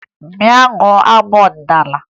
Bịa gụọ abụ ọdịnaala!